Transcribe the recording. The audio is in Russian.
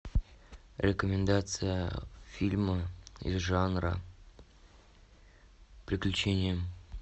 рекомендация фильма из жанра приключения